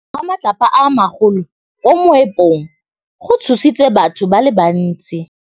Go wa ga matlapa a magolo ko moepong go tshositse batho ba le bantsi.